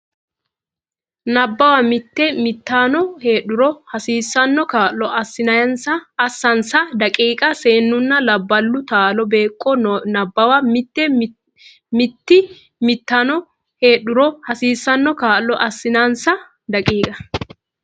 Nabbawa Mitii mitanno heedhuro hasiissanno kaa lo assinsa daqiiqa Seennunna labballu taalo beeqqo Nabbawa Mitii mitanno heedhuro hasiissanno kaa lo assinsa daqiiqa.